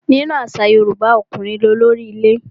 Nínú àṣà Yorùbá, ọkùnrin ní olórí ilé.